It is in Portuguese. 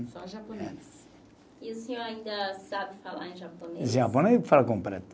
Só japonês. E o senhor ainda sabe falar em japonês? Japonês falo completo